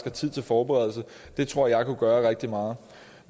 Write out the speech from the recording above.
er tid til forberedelse det tror jeg kunne gøre rigtig meget